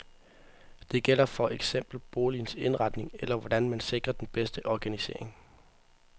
Det gælder for eksempel boligens indretning eller, hvordan man sikrer den bedste organisering.